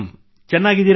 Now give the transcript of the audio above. ಚೆನ್ನಾಗಿದ್ದೀರಾ